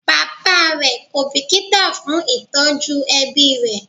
Bàbá rẹ kò bìkítà fún ìtọ́jú ẹbí rẹ̀